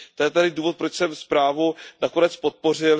To je tedy důvod, proč jsem zprávu nakonec podpořil.